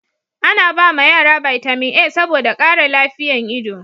ana ba ma yara bitamin a saboda kara lafiyan ido